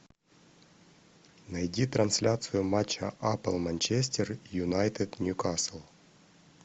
найди трансляцию матча апл манчестер юнайтед ньюкасл